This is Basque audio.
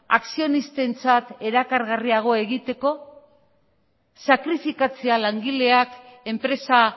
akzionistentzat erakargarriago egiteko sakrifikatzea langileak enpresa